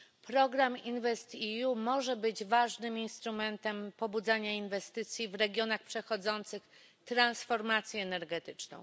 Program InvestEU może być ważnym instrumentem pobudzania inwestycji w regionach przechodzących transformację energetyczną.